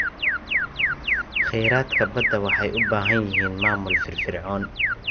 Kheyraadka badda waxay u baahan yihiin maamul firfircoon.